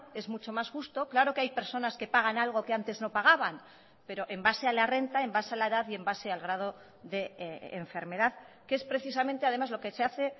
es mucho más justo claro que hay personas que pagan algo que antes no pagaban pero en base a la renta en base a la edad y en base al grado de enfermedad que es precisamente además lo que se hace